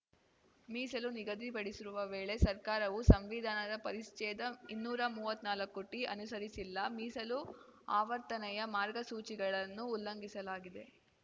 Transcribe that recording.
ಮೀಸಲು ನಿಗದಿಪಡಿಸಿರುವ ವೇಳೆ ಸರ್ಕಾರವು ಸಂವಿಧಾನದ ಪರಿಸ್ಚೇದ ಇನ್ನೂರಾ ಮುವ್ವತ್ನಾಲ್ಕುಟಿ ಅನುಸರಿಸಿಲ್ಲ ಮೀಸಲು ಆವರ್ತನೆಯ ಮಾರ್ಗಸೂಚಿಗಳನ್ನು ಉಲ್ಲಂಘಿಸಲಾಗಿದೆ